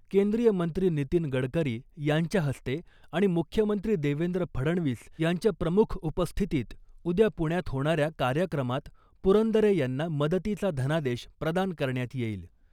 केंद्रीय मंत्री नितीन गडकरी यांच्या हस्ते आणि मुख्यमंत्री देवेंद्र फडणवीस यांच्या प्रमुख उपस्थितीत उद्या पुण्यात होणाऱ्या कार्यक्रमात पुरंदरे यांना मदतीचा धनादेश प्रदान करण्यात येईल .